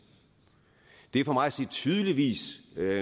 det er for mig at se tydeligvis